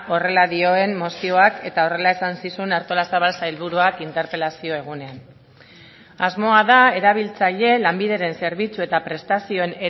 horrela dioen mozioak eta horrela esan zizun artolazabal sailburuak interpelazio egunean asmoa da erabiltzaile lanbideren zerbitzu eta prestazioen